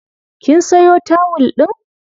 Kin sayo tawul ɗin?